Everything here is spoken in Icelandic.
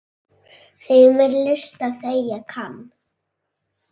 Þeim er list er þegja kann.